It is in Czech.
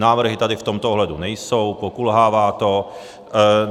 Návrhy tady v tomto ohledu nejsou, pokulhává to.